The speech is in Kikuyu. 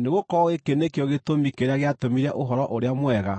Nĩgũkorwo gĩkĩ nĩkĩo gĩtũmi kĩrĩa gĩatũmire Ũhoro-ũrĩa-Mwega